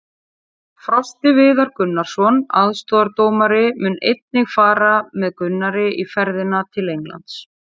Frosti Viðar Gunnarsson, aðstoðardómari, mun einnig fara með Gunnari í ferðina til Englands.